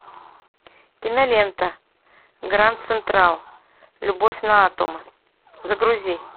кинолента гранд централ любовь на атомы загрузи